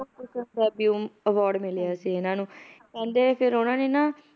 award ਮਿਲਿਆ ਸੀ ਇਹਨਾਂ ਨੁੰ ਕਹਿੰਦੇ ਫਿਰ ਉਹਨਾਂ ਨੇ ਨਾ